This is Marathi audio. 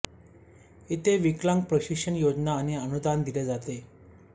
येथे विकलांग प्रशिक्षण योजना आणि अनुदान दिले जाते